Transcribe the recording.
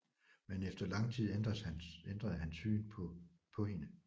Men efter lang tid ændres han syn på hende